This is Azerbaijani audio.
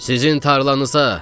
Sizin tarlanıza.